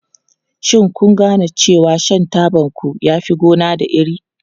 Shin kun gane cewa shan tabanku yana fin gona da iri?